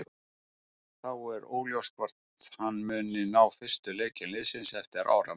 Þá er óljóst hvort hann muni ná fyrstu leikjum liðsins eftir áramót.